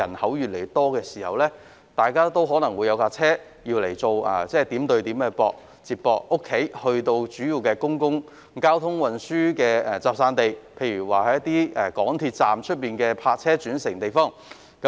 該等地區的人口越來越多，大家需要車輛作為點對點的接駁工具，由住所前往公共交通運輸交匯處，例如港鐵站外的泊車轉乘設施。